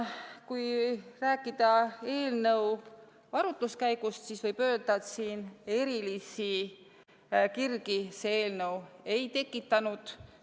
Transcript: Kui rääkida eelnõu arutelust, siis võib öelda, et erilisi kirgi see eelnõu ei tekitanud.